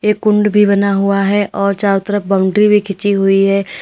एक कुंड भी बना हुआ है और चारों तरफ बाउंड्री भी खींची हुई है।